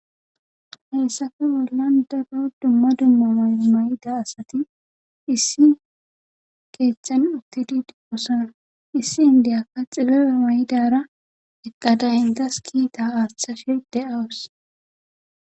Haysaafe bollan daggo dumma dumma may mayida asati issi keeththan uttididi qosonar issi indiyakka xilloyo maydara eqqadayintas kiita aashthashe de7awus